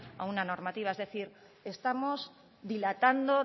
a una normativa es decir estamos dilatando